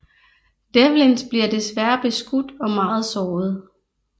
Devlins bliver desværrer beskudt og meget såret